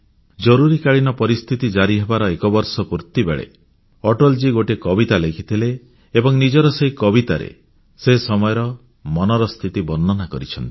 ଜରୁରୀକାଳୀନ ପରିସ୍ଥିତି ଜାରି ହେବାର ଏକ ବର୍ଷ ପୁର୍ତ୍ତି ବେଳେ ଅଟଳଜୀ ଗୋଟିଏ କବିତା ଲେଖିଥିଲେ ଏବଂ ନିଜର ସେହି କବିତାରେ ସେ ସମୟର ମନର ସ୍ଥିତିକୁ ବର୍ଣ୍ଣନା କରିଛନ୍ତି